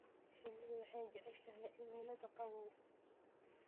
Shinnidu waxay jeceshahay cimilada qabow.